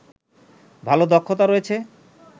ভালো দক্ষতা রয়েছে